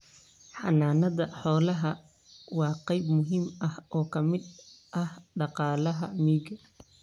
Xanaanada xoolaha waa qayb muhiim ah oo ka mid ah dhaqaalaha miyiga.